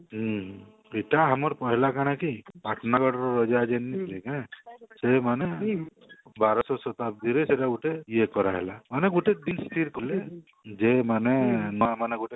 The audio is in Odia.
ହଁ ସିଟା ଆମର କହିଲା କାଣା କି ପାଟନାଗଡ ର ରାଜା ଯିଏ ନଥିଲେ କି ହାଁ ସେଇମାନେ ବାରଶହ ଶତାବ୍ଦୀ ରେ ସେଟା ଗୁଟେ ଇଏ କରାଗଲା ମାନେ ଗୁଟେ ଯେ ମାନେ ନୂଆ ମାନେ